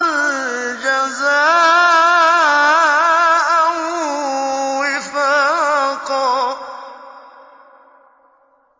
جَزَاءً وِفَاقًا